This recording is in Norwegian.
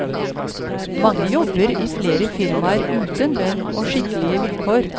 Mange jobber i flere firmaer uten lønn og skikkelige vilkår.